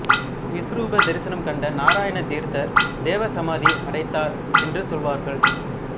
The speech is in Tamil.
விசவருப தரிசனம் கண்ட நாராயண தீர்த்தர் தேவ சமாதி அடைத்தார் என்று சொல்வார்கள்